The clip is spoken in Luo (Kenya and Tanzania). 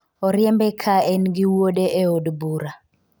oriembe ka en gi wuode e od bura